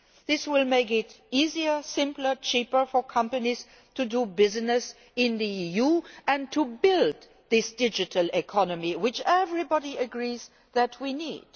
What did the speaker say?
This will make it easier, simpler and cheaper for companies to do business in the EU and to build this digital economy, which everybody agrees that we need.